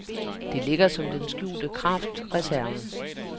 Det ligger som den skjulte kraftreserve.